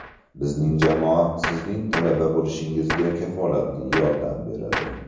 Bizning jamoa sizning talaba bo‘lishingizga kafolatli yordam beradi.